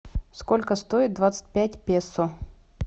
сколько стоит двадцать пять песо